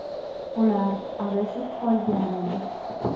Ular adashib qolgan edi.